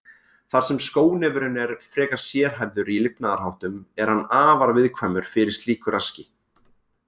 Þar sem skónefurinn er frekar sérhæfður í lifnaðarháttum er hann afar viðkvæmur fyrir slíku raski.